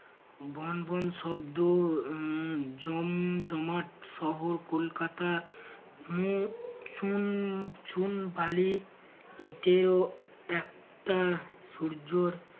von ভন শব্দ উম জম জমাট শহর কলকাতা উম চুন চুন বালি ইটেও একটা সূর্যর